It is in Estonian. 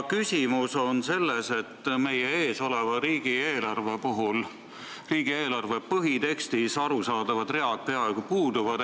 Küsimus on selles, et meil töös oleva riigieelarve põhitekstis arusaadavad read peaaegu puuduvad.